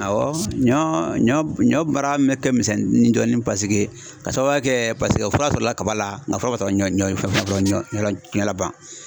Awɔ ɲɔ ɲɔ ɲɔ baara min mɛ ka misɛn ni dɔɔnin paseke ka sababuya kɛ paseke fura sɔrɔla kaba la, an nka fura ma sɔrɔ ɲɔ ɲɔla ban.